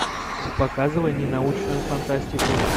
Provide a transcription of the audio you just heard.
показывай ненаучную фантастику